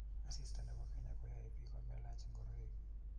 Asista ne bo kenya koyoe biik komelach ngoroik.